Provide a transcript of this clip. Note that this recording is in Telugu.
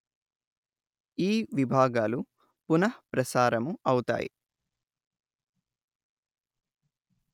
ఈ విభాగాలు పునః ప్రసారము అవుతాయి